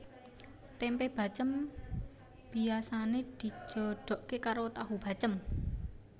Tempe bacém biasane dijodoke karo tahu bacém